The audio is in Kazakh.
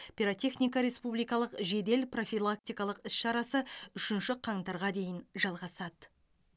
пиротехника республикалық жедел профилактикалық іс шарасы үшінші қаңтарға дейін жалғасады